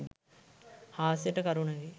හාස්‍යයට කරුණකි.